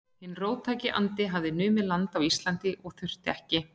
Hinn róttæki andi hafði numið land á Íslandi og þurfti ekki